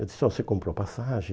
Eu disse, ó, você comprou passagem?